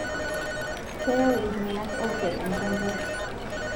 Keyau ltung'anak oopiak enchakarr